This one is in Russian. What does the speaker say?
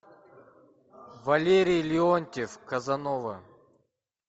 валерий леонтьев казанова